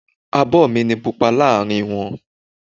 Abo mi ni Pupa láàárín wọn.